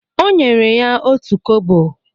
Ọ nyere ya otú kobo